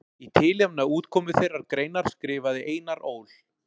Í tilefni af útkomu þeirrar greinar skrifaði Einar Ól.